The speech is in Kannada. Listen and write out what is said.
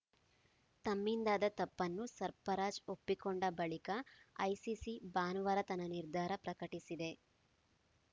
ತಮ್ಮಿಂದಾದ ತಪ್ಪನ್ನು ಸರ್ಫರಾಜ್‌ ಒಪ್ಪಿಕೊಂಡ ಬಳಿಕ ಐಸಿಸಿ ಭಾನುವಾರ ತನ್ನ ನಿರ್ಧಾರ ಪ್ರಕಟಿಸಿದೆ